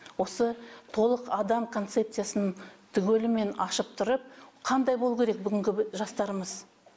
осы толық адам концепциясын түгелімен ашып тұрып қандай болуы керек бүгінгі жастарымыз